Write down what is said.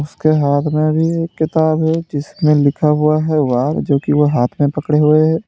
उसके हाथ में भी एक किताब है जिसमें लिखा हुआ है वॉर जोकि वह हाथ में पकड़े हुए हैं।